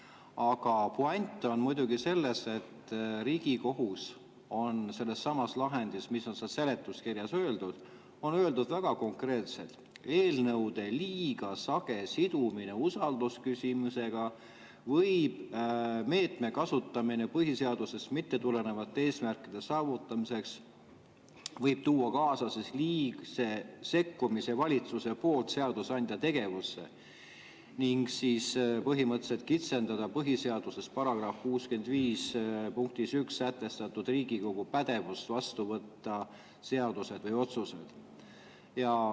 Aga puänt on selles, et Riigikohus on sellessamas lahendis, millele on seletuskirjas, öelnud väga konkreetselt: "Eelnõude liiga sage sidumine usaldusküsimusega või meetme kasutamine põhiseadusest mittetulenevate eesmärkide saavutamiseks võib tuua kaasa liigse sekkumise valitsuse poolt seadusandja tegevusse ning kitsendada põhiseaduse § 65 punktis 1 sätestatud Riigikogu pädevust vastu võtta seaduseid või otsuseid.